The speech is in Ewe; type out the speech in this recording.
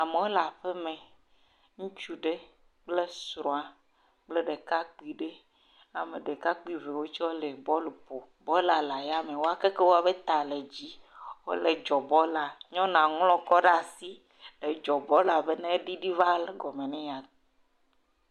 Amewo le aƒe me. Ŋutsu aɖe kple srɔ̃a kple ɖekakpui aɖe. Ale ɖekakpui vovovowo tse le bɔlu ƒom. Bɔlua le ya me wo keke woƒe ta le dzi wole dzɔ bɔlua. Nyɔnua ŋlɔ kɔ ɖe asi edzɔ bɔlua be negligli va kɔme na ye.